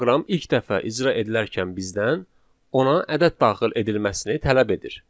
proqram ilk dəfə icra edilərkən bizdən ona ədəd daxil edilməsini tələb edir.